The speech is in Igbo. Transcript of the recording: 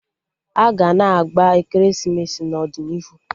Aga na-agba ekeresimesi n'ọdịnihu